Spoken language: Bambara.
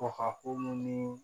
Kɔka ko mun ni